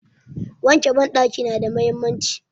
Wanke banɗaki nada mahimmanci.